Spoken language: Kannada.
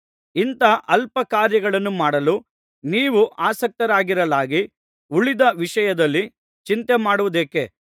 ಇಂಥ ಅಲ್ಪ ಕಾರ್ಯಗಳನ್ನು ಮಾಡಲು ನೀವು ಆಸಕ್ತರಾಗಿರಲಾಗಿ ಉಳಿದ ವಿಷಯದಲ್ಲಿ ಚಿಂತೆಮಾಡುವುದೇಕೆ